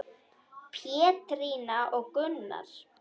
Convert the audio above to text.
Pétrína og Gunnar.